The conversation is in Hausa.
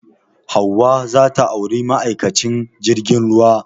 Hauwa za ta auri ma'aikacin jirgin ruwa